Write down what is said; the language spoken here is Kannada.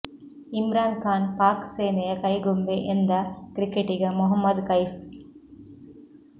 ಇಮ್ರಾನ್ ಖಾನ್ ಪಾಕ್ ಸೇನೆಯ ಕೈಗೊಂಬೆ ಎಂದ ಕ್ರಿಕೆಟಿಗ ಮೊಹಮ್ಮದ್ ಕೈಫ್